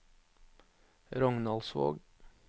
Rognaldsvåg